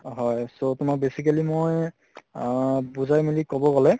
হয় so তোমাক basically মই অহ বুজাই মেলি কʼব গʼলে